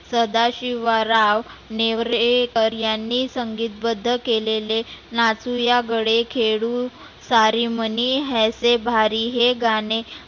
सदाशिवराव नेवरेकर यांनी संगितबद्ध केलेले नाचुया गडे खेळु सारी मनी ऐसे भारी हे गाणे